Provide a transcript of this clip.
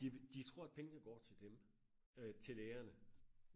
de de tror at pengene går til dem øh til lægerne